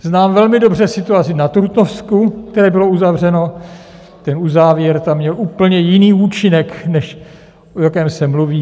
Znám velmi dobře situaci na Trutnovsku, které bylo uzavřeno, ten uzávěr tam měl úplně jiný účinek, než o jakém se mluví.